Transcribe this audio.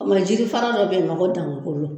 O kuma jiri fara dɔ be yen nɔn ko dankolo